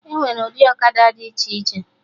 Enwere ụdị ọkada dị iche iche